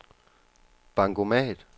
bankomat